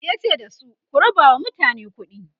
yace da su "ku rabawa mutane kuɗi!"